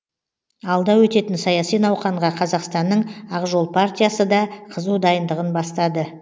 алда өтетін саяси науқанға қазақстанның ақжол партиясыда қызу дайындығын бастады